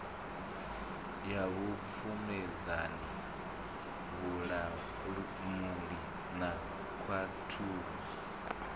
ya vhupfumedzani vhulamuli na khaṱhulo